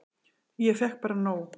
Ég fékk bara nóg.